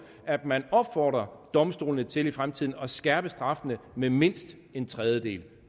at man opfordrer domstolene til i fremtiden at skærpe straffene med mindst en tredjedel